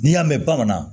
N'i y'a mɛn bamanan